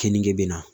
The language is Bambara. Keninge bɛ na